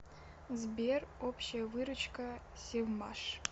сбер общая выручка севмаш